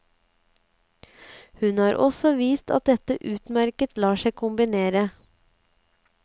Hun har også vist at dette utmerket lar seg kombinere.